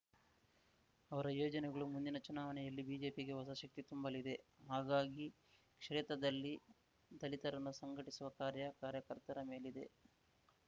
ಅವರ ಯೋಜನೆಗಳು ಮುಂದಿನ ಚುನಾವಣೆಯಲ್ಲಿ ಬಿಜೆಪಿಗೆ ಹೊಸ ಶಕ್ತಿ ತುಂಬಲಿದೆ ಹಾಗಾಗಿ ಕ್ಷೇತ್ರದಲ್ಲಿ ದಲಿತರನ್ನು ಸಂಘಟಿಸುವ ಕಾರ್ಯ ಕಾರ್ಯಕರ್ತರ ಮೇಲಿದೆ